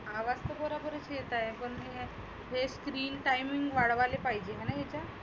आवाज खुप बरोबर येत आहे. हे screen timing वाढवायले पाहीजे आहेना इकड.